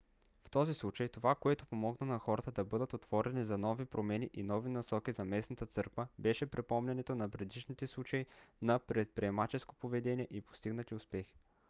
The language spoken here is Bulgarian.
в този случай това което помогна на хората да бъдат отворени за нови промени и нови насоки за местната църква беше припомнянето на предишните случаи на предприемаческо поведение и постигнати успехи